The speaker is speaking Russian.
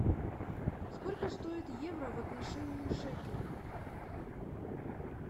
сколько стоит евро в отношении шекеля